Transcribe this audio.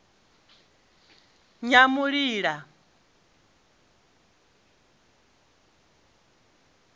nyamulila